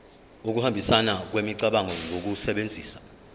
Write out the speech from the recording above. ukuhambisana kwemicabango ngokusebenzisa